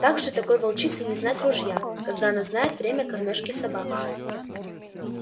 как же такой волчице не знать ружья когда она знает время кормёжки собак